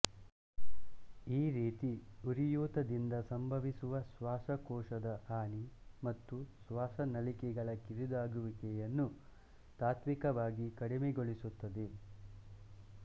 ಈ ರೀತಿ ಉರಿಯೂತದಿಂದ ಸಂಭವಿಸುವ ಶ್ವಾಸಕೋಶದ ಹಾನಿ ಮತ್ತು ಶ್ವಾಸ ನಳಿಕೆಗಳ ಕಿರಿದಾಗುವಿಕೆಯನ್ನು ತಾತ್ತ್ವಿಕವಾಗಿ ಕಡಿಮೆಗೊಳಿಸುತ್ತದೆ